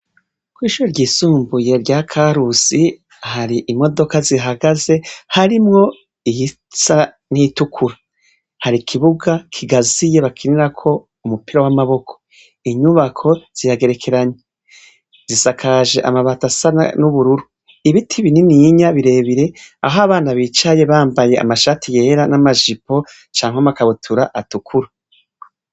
kw'ishure ry'isumbuye rya karusi hari imodoka zihagaze harimwo iyisa n'iyitukura, har'ikibuga kigaziye bakinira ko umupira w'amaboko ,inyubako ziyagerekeranye, zisakaje amabati asa n'ubururu ,ibiti binininya birebire aho abana bicaye bambaye amashati yera n'amajipo, canke amakabutura atukura.